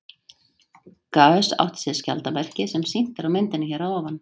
Gauss átti sér skjaldarmerki, sem sýnt er á myndinni hér að ofan.